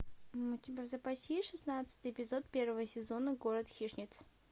у тебя в запасе есть шестнадцатый эпизод первого сезона город хищниц